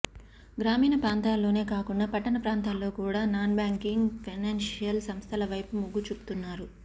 గ్రామీణ ప్రాంతాల్లోనే కాకుండా పట్టణ ప్రాంతాల్లో కూడా నాన్బ్యాంకింగ్ ఫైనాన్షియల్ సంస్థలవైపు మొగ్గుచూపుతున్నారు